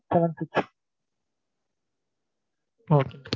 seven six okay